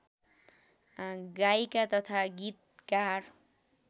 गायिका तथा गीतकार